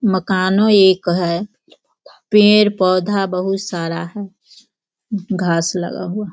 मकानों एक है। पेड़-पौधा बहुत सारा है घास लगा हुआ --